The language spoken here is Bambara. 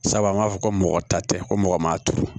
Sabu an b'a fɔ ko mɔgɔ ta tɛ ko mɔgɔ ma turu